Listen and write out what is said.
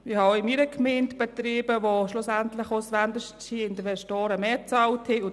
Ich habe auch in meiner Gemeinde Betriebe, bei denen ausländische Investoren schlussendlich mehr bezahlt haben.